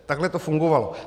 Takhle to fungovalo.